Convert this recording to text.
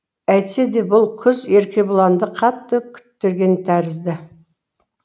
әйтсе де бұл күз еркебұланды қатты күттірген тәрізді